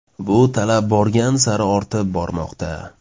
Bu talab borgan sari ortib bormoqda.